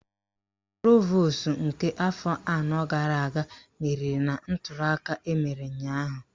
Provosu nke afọ anọ gara aga meriri na ntuliaka emere ụnyaahụ